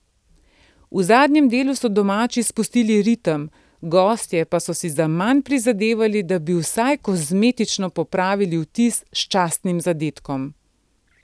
V zadnjem delu so domači spustili ritem, gostje pa so si zaman prizadevali, da bi vsaj kozmetično popravili vtis s častnim zadetkom.